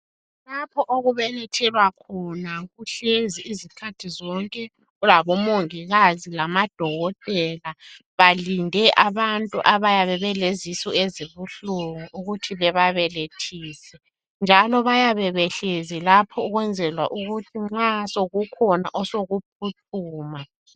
Lapho okubelethelwa khona kuhlezi izikhathi zonke kulabo mongikazi lamadokotela belinde abantu abayabe belezisu ezibuhlungu ukuthi bebabelethise njalo bayabe behlezi lapho ukwenzela ukuthi nxa sokukhona osokuphuthuma.